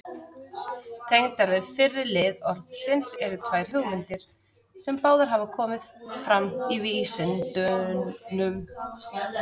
Tengdar við fyrri lið orðsins eru tvær hugmyndir, sem báðar hafa komið fram í vísindunum.